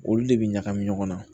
Olu de bɛ ɲagami ɲɔgɔn na